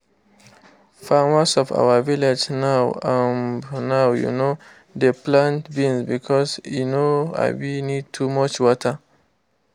farmers for our village now um now um dey plant beans because e no um need too much water